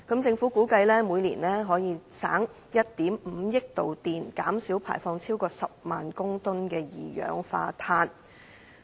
政府估計每年可因而節省1億 5,000 萬度電，減少排放超過10萬公噸二氧化碳。